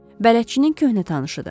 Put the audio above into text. Bələdçinin köhnə tanışıdır.